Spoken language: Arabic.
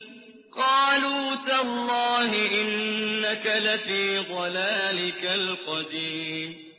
قَالُوا تَاللَّهِ إِنَّكَ لَفِي ضَلَالِكَ الْقَدِيمِ